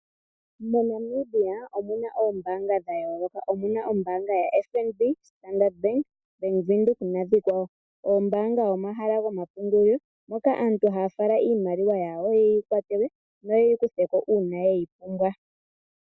Mo Namibia omuna oombaanga dhayooloka omuna ombaanga ya FNB ,Standard bank, bank windhoek nadhikwawo , oombanga omahala goma pungulilo moka aantu haa fala iimaliwa yawo yeyi kwatelwe yo yeyi kutheko uuna yeyi pumbwa.